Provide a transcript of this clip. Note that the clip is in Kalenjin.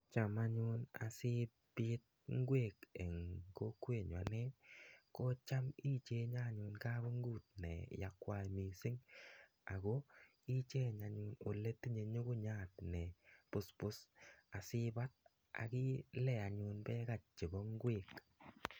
cham anyun asipit ngwek eng kokwenyun anye ko cham ipichenge kapungut ne akwai missing ako icheng aole mitei ngungunyat nepuspus asikol anyun akilean ngwek